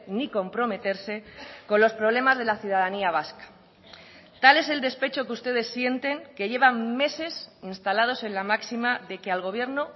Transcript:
ni comprometerse con los problemas de la ciudadanía vasca tal es el despecho que ustedes sienten que llevan meses instalados en la máxima de que al gobierno